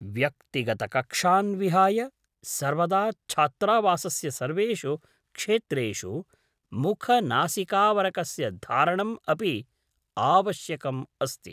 व्यक्तिगतकक्षान् विहाय सर्वदा छात्रावासस्य सर्वेषु क्षेत्रेषु मुखनासिकाऽवरकस्य धारणम् अपि आवश्यकम् अस्ति ।